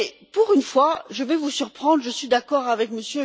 Pour une fois, je vais vous surprendre, je suis d'accord avec M.